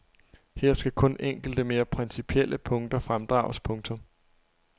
Her skal kun enkelte mere principielle punkter fremdrages. punktum